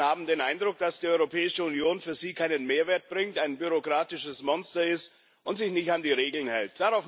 Viele Menschen haben den Eindruck, dass die Europäische Union für sie keinen Mehrwert bringt, ein bürokratisches Monster ist und sich nicht an die Regeln hält.